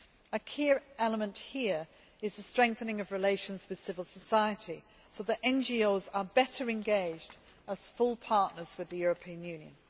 A key element here is the strengthening of relations with civil society, so that NGOs are better engaged as full partners with the European Union.